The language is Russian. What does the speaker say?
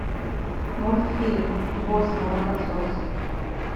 мультфильм босс молокосос